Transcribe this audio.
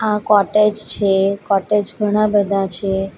આ કોટેજ છે કોટેજ ઘણા બધા છે.